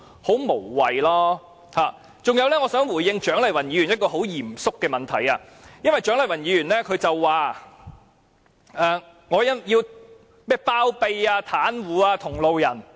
此外，我想回應蔣麗芸議員一個很嚴肅的問題，因為蔣麗芸議員說我包庇、袒護同路人。